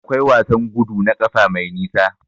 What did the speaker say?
Akwai wasan gudu na ƙafa mai nisa.